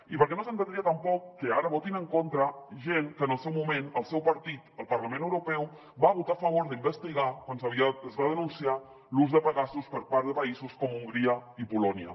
i perquè no s’entendria tampoc que ara votin en contra gent que en el seu moment el seu partit al parlament europeu va votar a favor d’investigar quan es va denunciar l’ús de pegasus per part de països com hongria i polònia